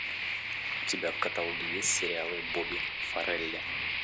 у тебя в каталоге есть сериалы бобби фаррелли